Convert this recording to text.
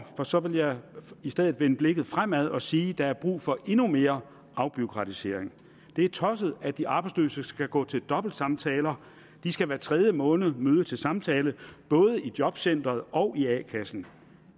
for så vil jeg i stedet vende blikket fremad og sige at der er brug for endnu mere afbureaukratisering det er tosset at de arbejdsløse skal gå til dobbeltsamtaler de skal hver tredje måned møde til samtale både i jobcenteret og i a kassen